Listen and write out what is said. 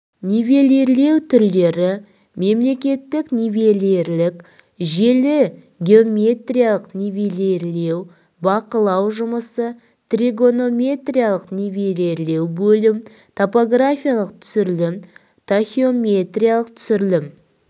нивелирлеу түрлері мемлекеттік нивелирлік желі геометриялық нивелирлеу бақылау жұмысы тригонометриялық нивелирлеу бөлім топографиялық түсірілім тахеометриялық түсірілім